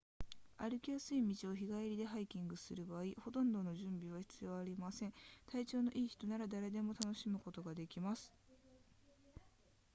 歩きやすい道を日帰りでハイキングする場合ほとんど準備は必要ありません体調の良い人なら誰でも楽しむことができます